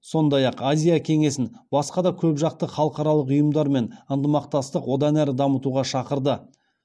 сондай ақ азия кеңесін басқа да көпжақты халықаралық ұйымдармен ынтымақтастық одан әрі дамытуға шақырды